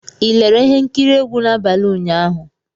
Ị lere ihe nkiri egwu n'abalị ụnyaahụ?